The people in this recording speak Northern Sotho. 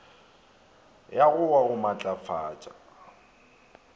ya go wa go matlafatša